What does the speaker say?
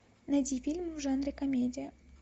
найди фильмы в жанре комедия